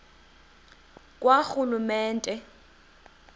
karhulumente